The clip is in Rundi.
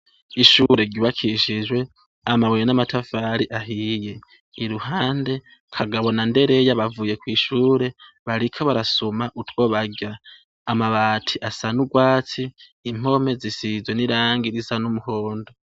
Ishure ryubakishijwe amabuye n'amatafari ahiye. Iruhande, Kagabo na Ndereya bavuye kw'ishure, bariko barasuma utwo barya. Amabati aya n'urwatsi, impome zisize irangi risa n'umuhondo.